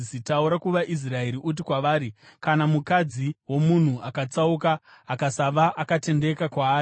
“Taura kuvaIsraeri uti kwavari: ‘Kana mukadzi womunhu akatsauka, akasava akatendeka kwaari,